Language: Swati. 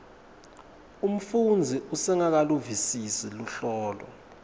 umfundzi usengakaluvisisi luhlobo